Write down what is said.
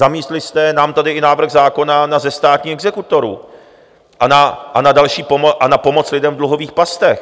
Zamítli jste nám tady i návrh zákona na zestátnění exekutorů a na pomoc lidem v dluhových pastech.